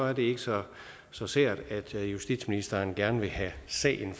er det ikke så så sært at justitsministeren gerne vil have sagen